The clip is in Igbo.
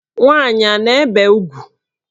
Nwaanyị a na-ebe ugwu?